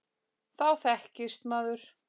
Þá þekkist maður.